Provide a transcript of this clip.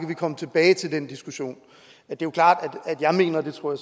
kan komme tilbage til den diskussion det er klart at jeg mener og det tror